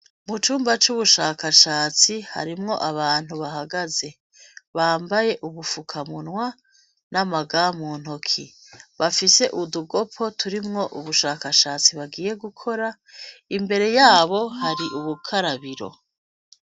Mucumba cubushakashatsi harimwo abantu bahagaze bambaye ubufuka munwa nama gand muntoke bafise utugopo turimwo ubushakashatsi bagiye gukora imbere yabo hari ubukarabiro